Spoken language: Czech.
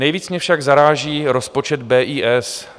Nejvíc mě však zaráží rozpočet BIS.